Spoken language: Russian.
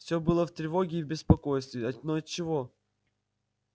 всё было в тревоге и в беспокойстве но отчего